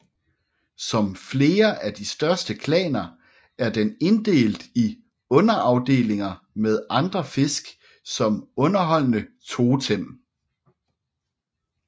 Som flere af de største klaner er den inddelt i underafdelinger med andre fisk som underordnede totem